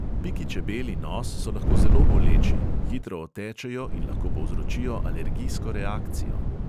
Piki čebel in os so lahko zelo boleči, hitro otečejo in lahko povzročijo alergijsko reakcijo.